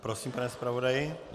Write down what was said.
Prosím, pane zpravodaji.